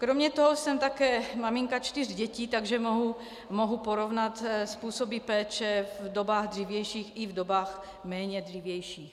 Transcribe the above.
Kromě toho jsem také maminka čtyř dětí, takže mohu porovnat způsoby péče v dobách dřívějších i v dobách méně dřívějších.